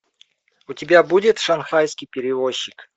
у тебя будет шанхайский перевозчик